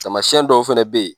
Tamasiɛn dɔw fɛnɛ bɛ yen.